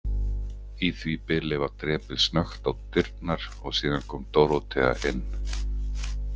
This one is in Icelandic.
Í því bili var drepið snöggt á dyrnar og síðan kom Dórótea inn.